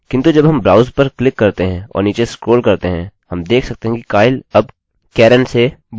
किन्तु जब हम browse पर क्लिक करते हैं और नीचे स्क्रोल करते हैं हम देख सकते हैं कि kyle अब karen से बदल गया है